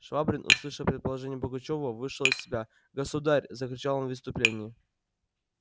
швабрин услышав предположение пугачёва вышел из себя государь закричал он в исступлении